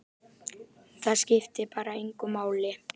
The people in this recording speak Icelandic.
Það skiptir bara engu máli.